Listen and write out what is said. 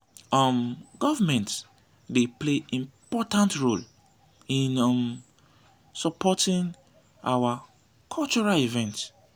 um government dey play important role in um supporting our cultural events.